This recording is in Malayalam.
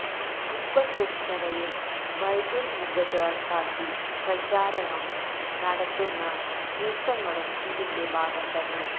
ഖുബ്ബത്തുസ്സഖ്റയെ ബൈതുല് മുഖദ്ദസാക്കി പ്രചാരണം നടത്തുന്ന നീക്കങ്ങളും ഇതിന്റെ ഭാഗം തന്നെ